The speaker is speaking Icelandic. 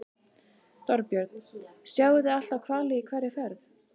Þorbjörn: Sjáið þið alltaf hvali í hverri ferð?